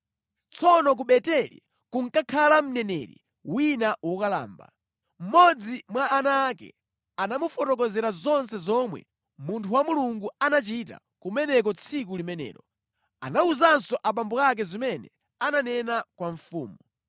Tsono ku Beteli kunkakhala mneneri wina wokalamba. Mmodzi mwa ana ake anamufotokozera zonse zomwe munthu wa Mulungu anachita kumeneko tsiku limenelo. Anawuzanso abambo ake zimene ananena kwa mfumu.